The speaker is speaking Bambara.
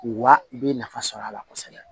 Wa i bɛ nafa sɔrɔ a la kosɛbɛ